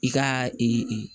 I ka